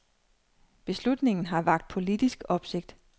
Beslutningen har vakt politisk opsigt.